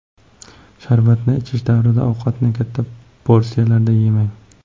Sharbatni ichish davrida ovqatni katta porsiyalarda yemang.